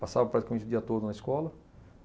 Passava praticamente o dia todo na escola.